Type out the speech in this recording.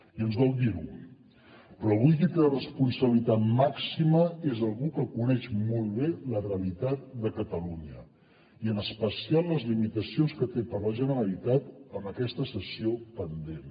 i ens dol dir ho però avui qui té la responsabilitat màxima és algú que coneix molt bé la realitat de catalunya i en especial les limitacions que té per a la generalitat amb aquesta cessió pendent